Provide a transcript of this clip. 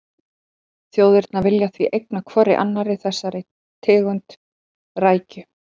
Þjóðirnar vilja því eigna hvorri annarri þessa tegund rækju.